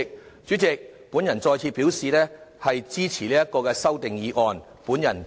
代理主席，我再次表示支持這項議案。